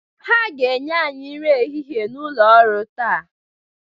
Ha ga-enye anyị nri ehihie n'ụlọ orụ taa.